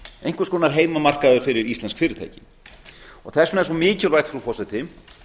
einhvers konar heimamarkaður fyrir íslensk fyrirtæki þess vegna er svo mikilvægt frú forseti